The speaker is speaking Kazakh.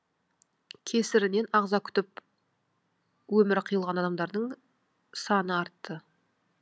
кесірінен ағза күтіп өмірі қиылған адамдардың саны артты